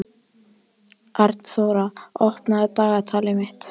Arnþóra, opnaðu dagatalið mitt.